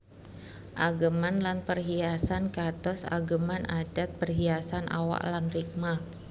Ageman lan perhiasan kados ageman adhat perhiasan awak lan rikma